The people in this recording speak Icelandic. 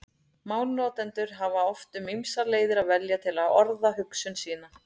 Málnotendur hafa oft um ýmsar leiðir að velja til að orða hugsun sína.